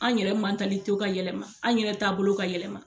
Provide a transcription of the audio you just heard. An yɛrɛ ka yɛlɛma an yɛrɛ taabolo ka yɛlɛma.